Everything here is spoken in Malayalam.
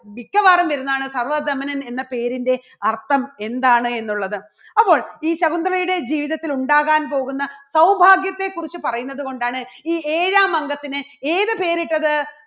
മിക്കവാറും വരുന്നതാണ് സർവ്വധമനൻ എന്ന പേരിൻറെ അർത്ഥം എന്താണ് എന്നുള്ളത് അപ്പോൾ ഈ ശകുന്തളയുടെ ജീവിതത്തിൽ ഉണ്ടാകാൻ പോകുന്ന സൗഭാഗ്യത്തെക്കുറിച്ച് പറയുന്നതുകൊണ്ടാണ് ഈ ഏഴാം അംഗത്തിന് ഏത് പേരിട്ടത്?